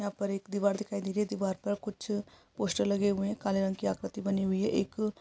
यहां पर एक दीवार दिखाई दे रही है दीवार पर कुछ पोस्टर लगे हुए हैं काले रंग की आकृति बनी हुई है एक--